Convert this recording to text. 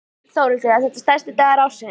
Þórhildur: Er þetta stærsti dagur ársins?